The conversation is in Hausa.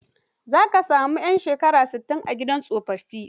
Za ka sami 'yan shekara sittin, a gidan tsofaffi.